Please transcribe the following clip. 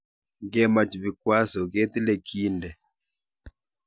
Ngemach vikwaso ketile kiinde